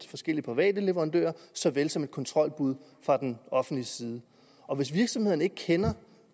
forskellige private leverandører så vel som et kontrolbud fra offentlig side og hvis virksomhederne ikke kender